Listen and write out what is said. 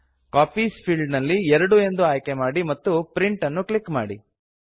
copies field ನಲ್ಲಿ 2 ಎಂದು enter ಮಾಡಿ ಮತ್ತು ಪ್ರಿಂಟ್ ಅನ್ನು ಕ್ಲಿಕ್ ಮಾಡಿ